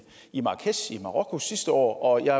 i marrakech i marokko sidste år jeg